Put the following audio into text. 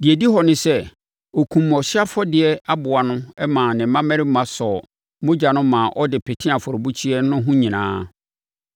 Deɛ ɛdi hɔ ne sɛ, ɔkumm ɔhyeɛ afɔdeɛ aboa no maa ne mmammarima sɔɔ mogya no maa ɔde petee afɔrebukyia no ho nyinaa,